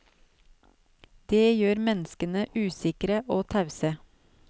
Det gjør menneskene usikre og tause.